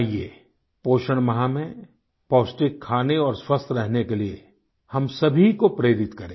आइये पोषण माह में पौष्टिक खाने और स्वस्थ रहने के लिए हम सभी को प्रेरित करें